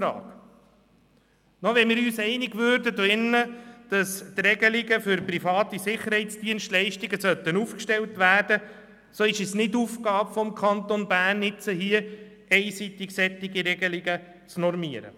Selbst wenn wir uns hier drin darüber einig würden, dass Regelungen für private Sicherheitsdienstleistungen aufgestellt werden müssten, ist es nicht Aufgabe des Kantons Bern, einseitig solche Regelungen festzulegen.